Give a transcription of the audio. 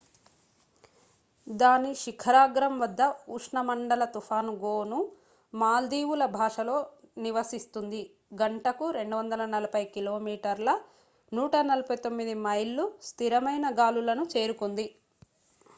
దాని శిఖరాగ్రంవద్ద ఉష్ణమండల తుఫాను గోను మాల్దీవుల భాషలో నివసిస్తుంది గంటకు 240 కిలోమీటర్ల 149 మైళ్ళు స్థిరమైన గాలులను చేరుకుంది